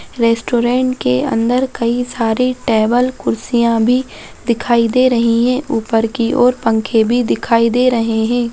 Restaurant के अंदर कई सारी टेबल कुर्सियाँ भी दिखाई दे रही हैं ऊपर की और पंखे भी दिखाई दे रहें हैं।